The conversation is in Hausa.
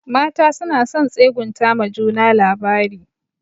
Mata suna son tsegunta ma juna labari.